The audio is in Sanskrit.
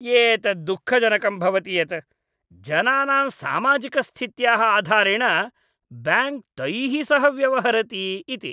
एतत् दुःखजनकं भवति यत् जनानां सामाजिकस्थित्याः आधारेण ब्याङ्क् तैः सह व्यवहरति इति।